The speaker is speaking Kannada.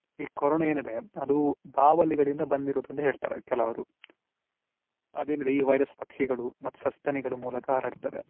ಈ ಕೊರೊನಾ ಏನಿದೆ ಅದು ಬಾವಲಿಗಳಿಂದ ಬಂದಿರುದು ಅಂತ ಹೇಳ್ತಾರೆ ಕೆಲವರು ಅದೇನಿದೆ ಈ virus ಪಕ್ಷಿಗಳು ಮತ್ತು ಸಸ್ತನಿಗಳ ಮೂಲಕ ಹರಡ್ತದೆ.